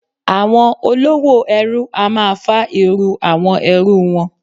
Àwọn olówò ẹrú a máa fá irú àwọn ẹrú wọn.